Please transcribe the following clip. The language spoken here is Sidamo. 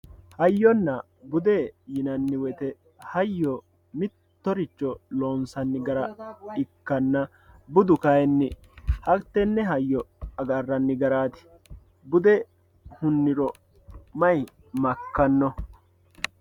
hayyonna bude yinanni woyiite hayyo mittoricho loonsanni gara ikkanna budu kayiinni hattenne hayyo agarranno garaati bude hunniro may makkanno.